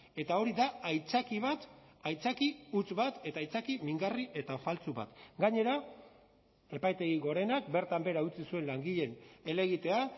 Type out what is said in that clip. eta hori da aitzaki bat aitzaki huts bat eta aitzaki mingarri eta faltsu bat gainera epaitegi gorenak bertan behera utzi zuen langileen helegitea